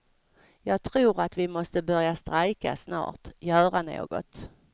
Jag tror att vi måste börja strejka snart, göra något.